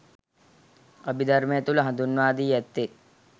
අභිධර්මය තුළ හඳුන්වා දී ඇත්තේ